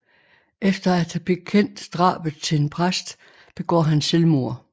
Efter at have bekendt drabet til en præst begår han selvmord